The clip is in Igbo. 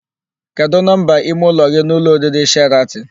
Kedụ nọmba ime ụlọ gị n'ụlọ oriri Sheratịn?